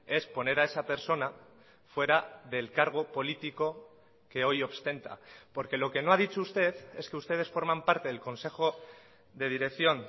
es poner a esa persona fuera del cargo político que hoy ostenta porque lo que no ha dicho usted es que ustedes forman parte del consejo de dirección